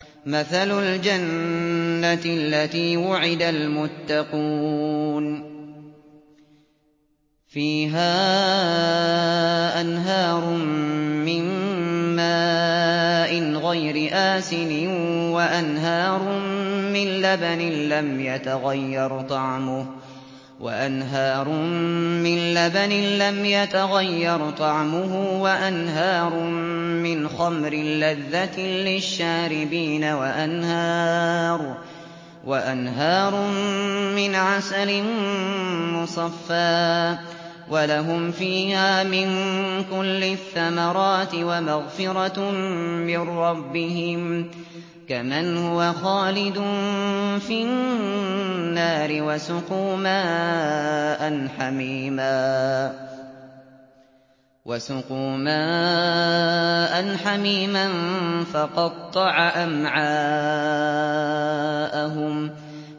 مَّثَلُ الْجَنَّةِ الَّتِي وُعِدَ الْمُتَّقُونَ ۖ فِيهَا أَنْهَارٌ مِّن مَّاءٍ غَيْرِ آسِنٍ وَأَنْهَارٌ مِّن لَّبَنٍ لَّمْ يَتَغَيَّرْ طَعْمُهُ وَأَنْهَارٌ مِّنْ خَمْرٍ لَّذَّةٍ لِّلشَّارِبِينَ وَأَنْهَارٌ مِّنْ عَسَلٍ مُّصَفًّى ۖ وَلَهُمْ فِيهَا مِن كُلِّ الثَّمَرَاتِ وَمَغْفِرَةٌ مِّن رَّبِّهِمْ ۖ كَمَنْ هُوَ خَالِدٌ فِي النَّارِ وَسُقُوا مَاءً حَمِيمًا فَقَطَّعَ أَمْعَاءَهُمْ